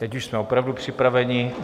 Teď už jsme opravdu připraveni.